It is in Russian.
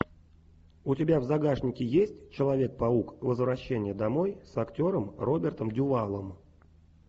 у тебя в загашнике есть человек паук возвращение домой с актером робертом дювалом